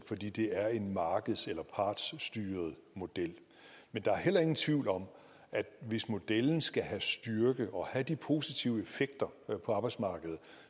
fordi det er en markeds eller partsstyret model men der er heller ingen tvivl om at hvis modellen skal have styrke og have de positive effekter på arbejdsmarkedet